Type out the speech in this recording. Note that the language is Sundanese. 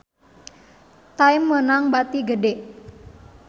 Time meunang bati gede